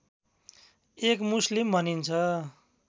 एक मुस्लिम भनिन्छ